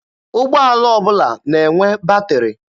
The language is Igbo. Ụgbọala ọbụla na-enwe batịrị.